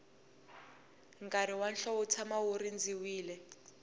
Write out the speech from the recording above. nkarhi wa hlovo wu tshama wu rindzeriwile